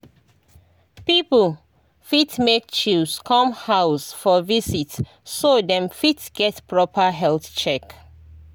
people fit make chws come house for visit so dem fit get proper health check.